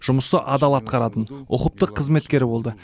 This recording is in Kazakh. жұмысты адал атқаратын ұқыпты қызметкер болды